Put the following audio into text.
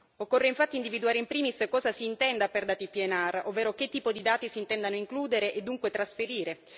Occorre infatti individuare in primis cosa si intenda per dati PNR, ovvero che tipo di dati si intendano includere e dunque trasferire